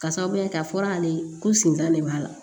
Ka sababuya kɛ a fɔra ale ye ko sinzan de b'a la